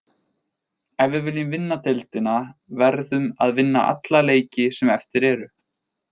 Ef við viljum vinna deildina verðum að vinna alla leiki sem eftir eru.